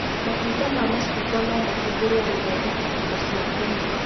Matunda ma macungwa no mahũthĩrwo gũthondeka indo cia kũnyua